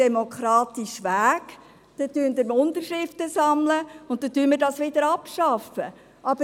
Sammeln Sie Unterschriften, dann schaffen wir diese Gesetze ab!